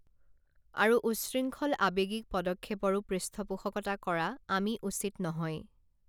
আৰু উচ্ছৃংখল আৱেগিক পদক্ষেপৰো পৃষ্ঠপোষকতা কৰা আমি উচিত নহয়